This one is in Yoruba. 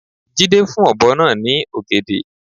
Jídé fún ọ̀bọ náa ní ògèdè